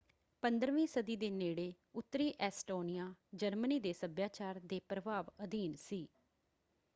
15ਵੀਂ ਸਦੀ ਦੇ ਨੇੜੇ ਉੱਤਰੀ ਐਸਟੋਨੀਆ ਜਰਮਨੀ ਦੇ ਸੱਭਿਆਚਾਰ ਦੇ ਪ੍ਰਭਾਵ ਅਧੀਨ ਸੀ।